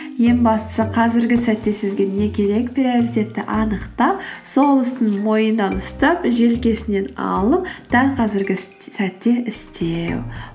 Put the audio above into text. ең бастысы қазіргі сәтте сізге не керек приоритетті анықтап сол істің мойнынан ұстап желкесінен алып дәл қазіргі сәтте істеу